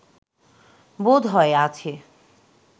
বোধ হয় আছে